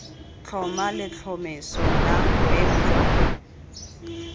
tlhoma letlhomeso la boemo jwa